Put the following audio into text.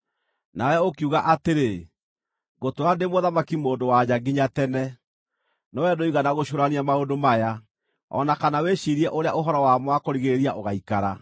Nawe ũkiuga atĩrĩ, ‘Ngũtũũra ndĩ mũthamaki-mũndũ-wa-nja nginya tene!’ No wee ndũigana gũcũũrania maũndũ maya, o na kana wĩciirie ũrĩa ũhoro wamo wa kũrigĩrĩria ũgaikara.